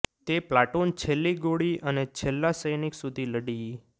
તે પ્લાટુન છેલ્લી ગોળી અને છેલ્લા સૈનિક સુધી લડી